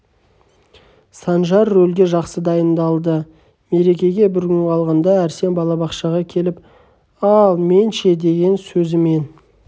санжар рөлге жақсы дайындалды мерекеге бір күн қалғанда арсен балабақшаға келіп ал мен ше деген сөзімен